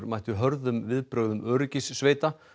mættu hörðum viðbrögðum öryggissveita